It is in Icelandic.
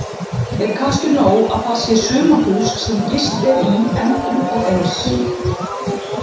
Er kannski nóg að þar sé sumarhús sem gist er í endrum og eins?